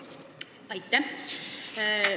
Aitäh!